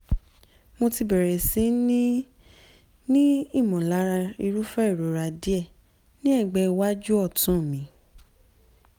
mo ti bẹ̀rẹ̀ sí ní ní ìmọ̀lára irúfẹ́ ìrora díẹ̀ ní ẹ̀gbẹ́ iwájú ọ̀tún mi